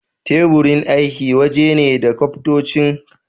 Teburin aiki waje ne da kafintoci suke yanka katakai zuwa siffofi da kuma girma daban daban